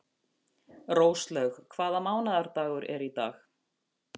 Róslaug, hvaða mánaðardagur er í dag?